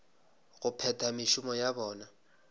go phetha mešomo ya bona